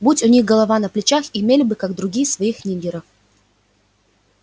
будь у них голова на плечах имели бы как другие своих ниггеров